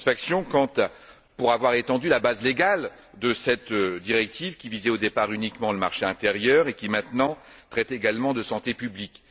Une satisfaction pour avoir étendu la base légale de cette directive qui visait, au départ, uniquement le marché intérieur et qui maintenant traite également de santé publique.